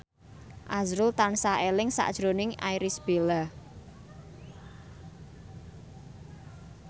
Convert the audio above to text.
azrul tansah eling sakjroning Irish Bella